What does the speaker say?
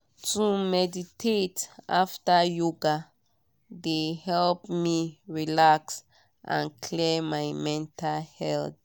to meditate after yoga de help me relax and clear my mental head.